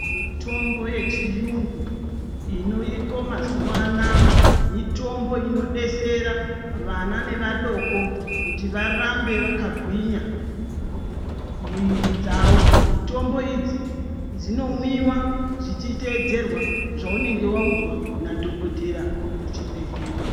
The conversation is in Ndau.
Mitombo yechiyungu inoiko mazuwa anaa mitombo inodetsera vana nevadoko kuti varambe vakagwinya miviri dzavo. Mitombo idzi inomwiwa dzichiteedzerwa zvaunenge waudzwa nadhokotera kuchibhedhlera.